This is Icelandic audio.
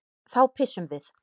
Þá pissum við.